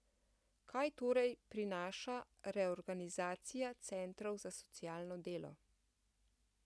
Kaj torej prinaša reorganizacija centrov za socialno delo?